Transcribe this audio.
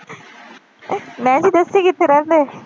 ਮੈਂ ਕਿਹਾ ਤੁਸੀਂ ਕਿੱਥੇ ਰਹਿੰਦੇ?